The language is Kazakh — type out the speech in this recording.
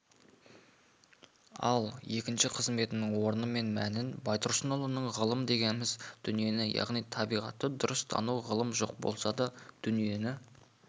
ал екінші қызметтің орны мен мәнін байтұрсынұлының ғылым дегеніміз дүниені яғни табиғатты дұрыс тану ғылым жоқ болса дүниені